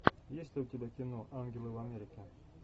есть ли у тебя кино ангелы в америке